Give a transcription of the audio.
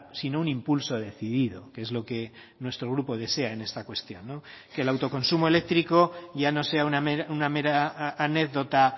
sino un impulso decidido que es lo que nuestro grupo desea en esta cuestión que el autoconsumo eléctrico ya no sea una mera anécdota